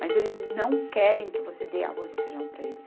Mas eles não querem que você dê arroz e feijão para eles.